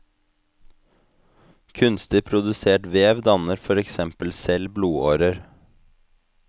Kunstig produsert vev danner for eksempel selv blodårer.